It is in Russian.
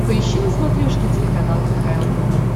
поищи на смотрешке телеканал кхл тв